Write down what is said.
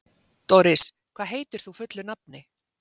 Doris, hvað heitir þú fullu nafni?